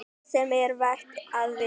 ÞAÐ SEM ER VERT AÐ VITA